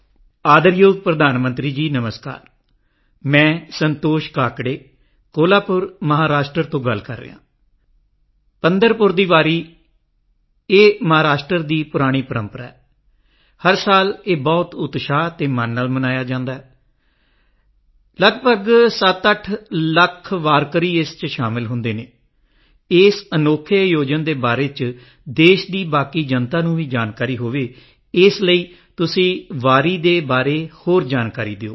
ਆਦਰਯੋਗ ਪ੍ਰਧਾਨ ਮੰਤਰੀ ਜੀ ਨਮਸਕਾਰ ਮੈਂ ਸੰਤੋਸ਼ ਕਾਕੜੇ ਕੋਲਹਾਪੁਰ ਮਹਾਰਾਸ਼ਟਰ ਤੋਂ ਗੱਲ ਕਰ ਰਿਹਾ ਹਾਂ ਪੰਢਰਪੁਰ ਦੀ ਵਾਰੀ ਇਹ ਮਹਾਰਾਸ਼ਟਰ ਦੀ ਪੁਰਾਣੀ ਪਰੰਪਰਾ ਹੈ ਹਰ ਸਾਲ ਇਹ ਬਹੁਤ ਉਤਸ਼ਾਹ ਤੇ ਮਨ ਨਾਲ ਮਨਾਇਆ ਜਾਂਦਾ ਹੈ ਲਗਭਗ 78 ਲੱਖ ਵਾਰਕਰੀ ਇਸ ਵਿੱਚ ਸ਼ਾਮਲ ਹੁੰਦੇ ਹਨ ਇਸ ਅਨੋਖੇ ਆਯੋਜਨ ਦੇ ਬਾਰੇ ਵਿੱਚ ਦੇਸ਼ ਦੀ ਬਾਕੀ ਜਨਤਾ ਨੂੰ ਵੀ ਜਾਣਕਾਰੀ ਹੋਵੇ ਇਸ ਲਈ ਤੁਸੀਂ ਵਾਰੀ ਦੇ ਬਾਰੇ ਹੋਰ ਜਾਣਕਾਰੀ ਦਿਓ